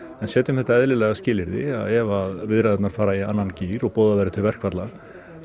en setjum þetta eðlilega skilyrði að ef að viðræðurnar fara í annan gír og boðað verði til verkfalla